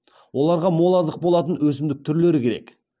оларға мол азық болатын өсімдік түрлері керек